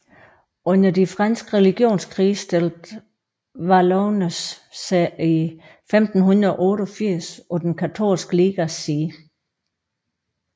Under de franske religionskrige stillede Valognes sig i 1588 på den katolske ligas side